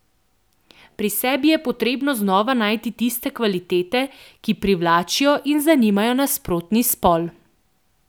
Pri sebi je potrebno znova najti tiste kvalitete, ki privlačijo in zanimajo nasprotni spol.